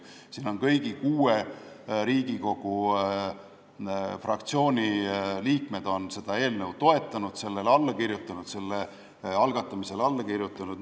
Kõigi kuue Riigikogu fraktsiooni liikmed on seda eelnõu toetanud ja selle algatamise otsusele alla kirjutanud.